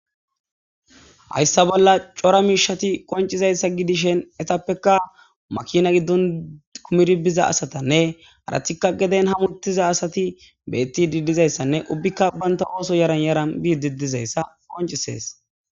hayssa bolla cora miishati qoncizayssa gidishen etappekka makina giddon kumir bizayasatanne haratikka geden hamuttiza asati beettidi dizayssanne ubbikka banta ooso yaran yara biididizayssa qoncisees